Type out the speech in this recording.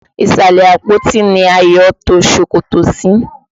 Ìsàlẹ̀ àpótí ni Ayọ̀ to ṣòkòtò sí.